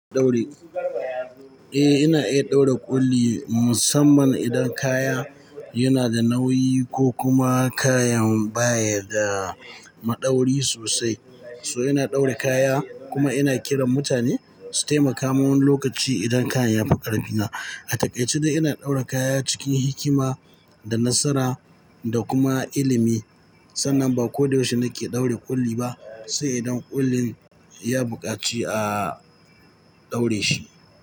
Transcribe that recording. Eh, ina iya ɗaura ƙulli musamman idan kaya yana da nauyi ko kuma kayan baya da maɗauri sosai. So ina ɗaura kaya kuma ina kiran mutane su taimaka min lokaci idan kayan ya fi ƙarfina. A takaice ina ɗaura kaya cikin hikima da nasara da kuma ilimi sannan ba ko da yaushe nake ɗaura ƙulli ba, sai idan ƙullin ya buƙaci a ɗaure shi.